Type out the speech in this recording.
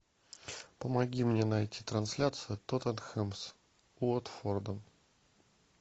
помоги мне найти трансляцию тоттенхэм с уотфордом